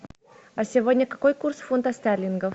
а сегодня какой курс фунтов стерлингов